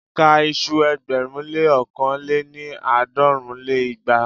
Ka iṣu ẹgbẹ̀rún lé ókàn lé-ní- àádọ́rùn lé igba!